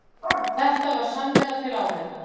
Þetta var samvera til áheyrnar